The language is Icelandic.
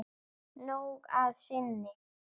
Nóg að sinni.